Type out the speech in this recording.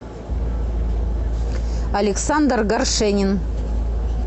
александр горшенин